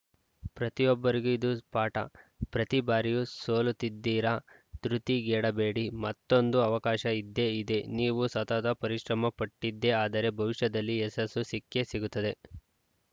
ಪ್ರತಿಯೊಬ್ಬರಿಗೂ ಇದು ಪಾಠ ಪ್ರತಿ ಬಾರಿಯೂ ಸೋಲುತ್ತಿದ್ದೀರಾ ಧೃತಿಗೆಡಬೇಡಿ ಮತ್ತೊಂದು ಅವಕಾಶ ಇದ್ದೇ ಇದೆ ನೀವು ಸತತ ಪರಿಶ್ರಮಪಟ್ಟಿದ್ದೇ ಆದರೆ ಭವಿಷ್ಯದಲ್ಲಿ ಯಶಸ್ಸು ಸಿಕ್ಕೇ ಸಿಗುತ್ತದೆ